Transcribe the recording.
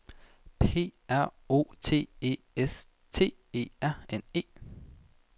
P R O T E S T E R N E